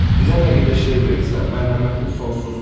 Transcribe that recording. Bizə nə qədər şey verirsən, mərhəmətin sonsuzdur.